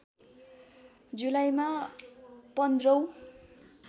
जुलाईमा १५ औं